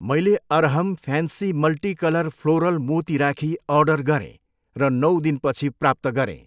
मैले Arham fancy multi colour floral मोती rakhi order गरेँ र नौ दिनपछि प्राप्त गरेँ।